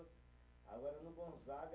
Agora, no Gonzaga